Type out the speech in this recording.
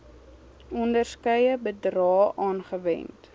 onderskeie bedrae aangewend